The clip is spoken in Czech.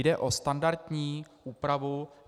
Jde o standardní úpravu.